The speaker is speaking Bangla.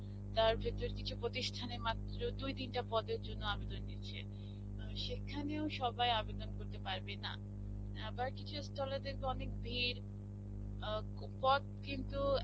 তার ভিতর কিছু প্রতিষ্ঠানের মাত্র দুই তিনটা পদের জন্যে আবেদন নিচ্ছে. সেখানেও সবাই আবেদন করতে পারবে না. আবার কিছু stall এ দেখবে অনেক ভীর আ পদ কিন্তু